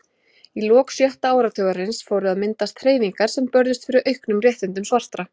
Í lok sjötta áratugarins fóru að myndast hreyfingar sem börðust fyrir auknum réttindum svartra.